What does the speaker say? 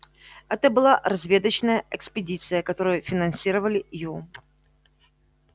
это была разведочная экспедиция которую финансировали ю